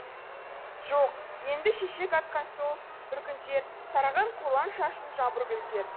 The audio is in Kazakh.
жоқ енді шешек атқан сол бір күндер тараған қолаң шашын жаңбыргүлдер